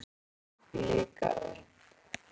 Hún ól mig líka upp.